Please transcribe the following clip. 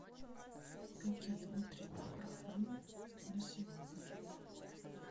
какие утренние программы на сегодня